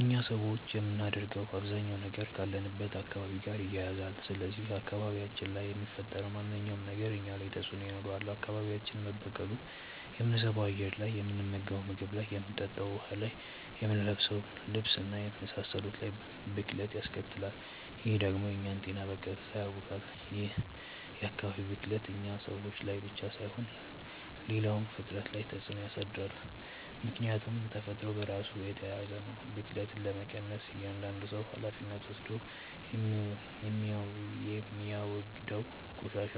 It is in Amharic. እኛ ሰዎች የምናደርገው አባዛኛው ነገር ካለንበት አካባቢ ጋር ይያያዛል። ስለዚህ አካባቢያችን ላይ የሚፈጠረው ማንኛውም ነገር እኛ ላይ ተጽእኖ ይኖረዋል። አካባቢያችን መበከሉ የምንስበው አየር ላይ፣ የምንመገንው ምግብ ላይ፣ የምንጠጣው ውሀ ላይ፣ የምንለብሰው ልብስ እና የመሳሰሉት ላይ ብክለት ያስከትላል። ይህ ደግሞ የእኛን ጤና በቀጥታ ያውካል። ይህ የአካባቢ ብክለት እኛ ሰዎች ላይ ብቻ ሳይሆን ሌላውም ፍጥረት ላይ ተፅእኖ ያሳድራል። ምክያቱም ተፈጥሮ በራሱ የተያያዘ ነው። ብክለትን ለመቀነስ እያዳንዱ ሰው ሀላፊነት ወስዶ የሚያወግደውን ቆሻሻ